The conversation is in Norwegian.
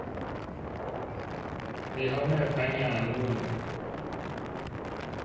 Vi har mer penger enn noen gang.